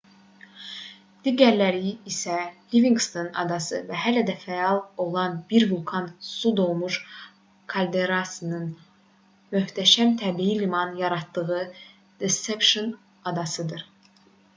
digərləri isə livinqston adası və hələ də fəal olan bir vulkanın su dolmuş kalderasının möhtəşəm təbii liman yaratdığı deception adasıdır